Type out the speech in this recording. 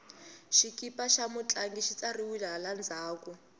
xikipa xa mutlangi xi tsariwile hala ndzhaku